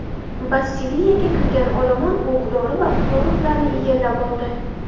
Bastiliyaga kirgan olomon o‘q-dori va poroxlarni egallab oldi.